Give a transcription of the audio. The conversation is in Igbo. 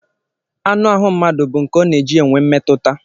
Anụahụ mmadụ bụ nke ọ na-eji enwe mmetụta